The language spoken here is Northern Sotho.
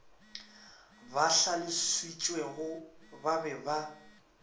ba hlalošitšegore ba be ba